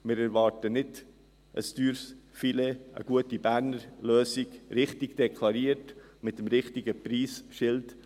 Wir erwarten nicht ein teures Filet, sondern eine gute Berner Lösung – richtig deklariert, mit dem richtigen Preisschild.